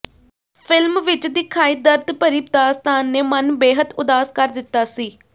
film ਵਿਚ ਦਿਖਾਈ ਦਰਦ ਭਰੀ ਦਾਸਤਾਨ ਨੇ ਮਨ ਬੇਹੱਦ ਉਦਾਸ ਕਰ ਦਿੱਤਾ ਸੀ